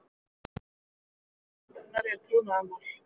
Annað efni sáttarinnar er trúnaðarmál